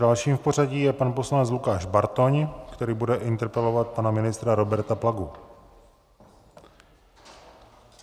Dalším v pořadí je pan poslanec Lukáš Bartoň, který bude interpelovat pana ministra Roberta Plagu.